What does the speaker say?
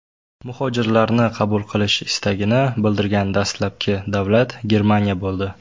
Muhojirlarni qabul qilish istagini bildirgan dastlabki davlat Germaniya bo‘ldi.